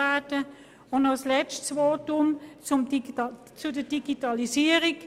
Noch ein letztes Wort zur Digitalisierung: